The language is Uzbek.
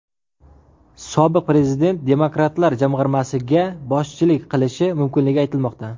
Sobiq prezident demokratlar jamg‘armasiga boshchilik qilishi mumkinligi aytilmoqda.